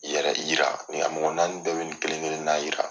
Yɛrɛ yira a mɔgɔ naani bɛɛ be nin kelen kelenna yira.